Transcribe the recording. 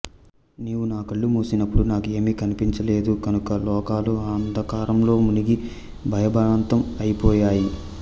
నీవు నా కళ్ళు మూసినప్పుడు నాకు ఏమీ కనిపించ లేదు కనుక లోకాలు అంధకారంలో మునిగి భయభ్రాంతం అయిపోయాయి